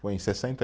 Foi em sessenta